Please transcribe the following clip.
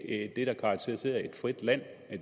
ikke det der karakteriserer et frit land